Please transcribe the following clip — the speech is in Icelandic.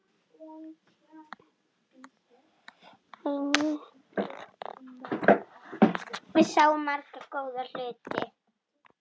Við sáum marga góða hluti.